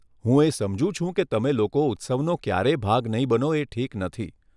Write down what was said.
હું એ સમજુ છુ કે તમે લોકો ઉત્સવનો ક્યારેય ભાગ નહીં બનો એ ઠીક નથી.